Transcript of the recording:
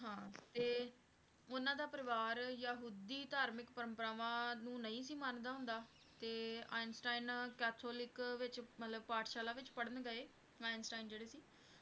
ਹਾਂ ਤੇ ਉਹਨਾਂ ਦਾ ਪਰਿਵਾਰ ਯਹੂਦੀ ਧਾਰਮਿਕ ਪਰੰਪਰਾਵਾਂ ਨੂੰ ਨਹੀਂ ਸੀ ਮੰਨਦਾ ਹੁੰਦਾ ਤੇ ਆਈਨਸਟਾਈਨ ਕੈਥੋਲਿਕ ਵਿੱਚ ਮਤਲਬ ਪਾਠਸ਼ਾਲਾ ਵਿੱਚ ਪੜ੍ਹਨ ਗਏ ਆਈਨਸਟਾਈਨ ਜਿਹੜੇ ਸੀ,